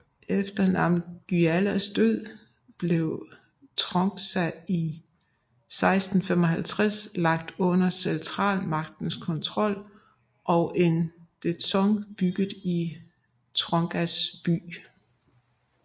Efter Namgyals død blev Trongsa i 1655 lagt under centralmagtens kontrol og en dzong bygget i Trongsa by